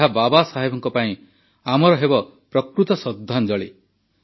ଏହା ବାବା ସାହେବଙ୍କ ପାଇଁ ଆମର ପ୍ରକୃତ ଶ୍ରଦ୍ଧାଞ୍ଜଳି ହେବ